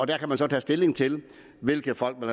der kan man så tage stilling til hvilke folk man